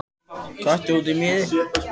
Köttur út í mýri